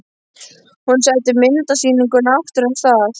Hún setti myndasýninguna aftur af stað.